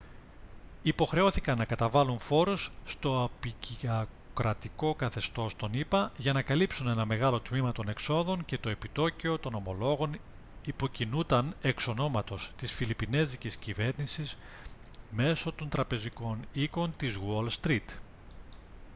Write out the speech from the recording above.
υποχρεώθηκαν να καταβάλουν φόρους στο αποικιοκρατικο καθεστώς των ηπα για να καλύψουν ένα μεγάλο τμήμα των εξόδων και το επιτόκιο των ομολόγων υποκινούταν εξ ονόματος της φιλιππινέζικης κυβέρνησης μέσω των τραπεζικών οίκων της γουόλ στρητ